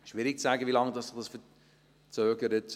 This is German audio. Schwierig zu sagen, wie lange sich das verzögert.